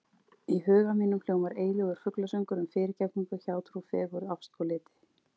Í huga mínum hljómar eilífur fuglasöngur um fyrirgefningu, hjátrú, fegurð, ást og liti.